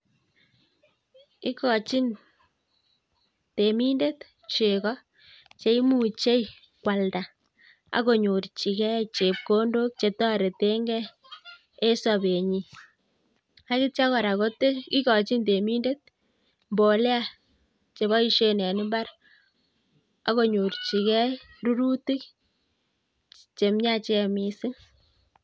Ikochin temindet chego cheimuchei kwalda akonyorchigei chepkondok chetoretengei e sobet nyi. Agitio kora kotil igochin temindet mbolea cheboisien en imbar akonyorchigei rurutik chemiachen missing.